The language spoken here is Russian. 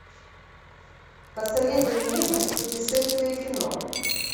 посоветуй мне путешествие кино